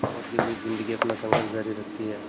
मौत के बीच ज़िंदगी अपना संघर्ष जारी रखती है